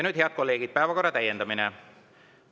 Nüüd, head kolleegid, päevakorra täiendamine.